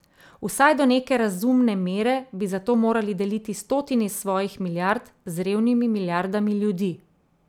Vsaj do neke razumne mere bi zato morali deliti stotine svojih milijard z revnimi milijardami ljudi.